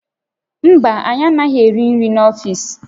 Mba, anyị anaghị eri nri n'ọfiisi